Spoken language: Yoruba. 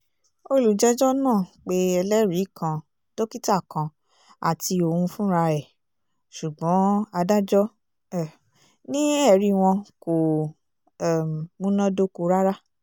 olùjẹ́jọ́ náà pé ẹlẹ́rìí kan dókítà kan àti òun fúnra ẹ̀ ṣùgbọ́n adájọ́ um ni ẹ̀rí wọn kò um múná dóko rárá